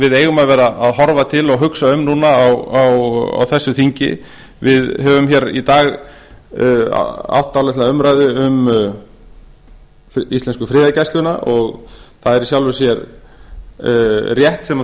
við eigum að vera að horfa til og hugsa um núna á þessu þingi við höfum hér í dag átt dálitla umræðu um íslensku friðargæsluna og það er í sjálfu sér rétt sem þar